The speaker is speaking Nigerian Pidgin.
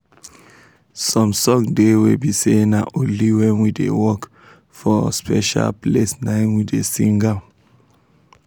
some song de wey be say na only when we da work for special place naim we da sing am